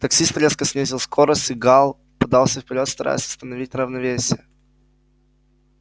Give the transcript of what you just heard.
таксист резко снизил скорость и гаал подался вперёд стараясь восстановить равновесие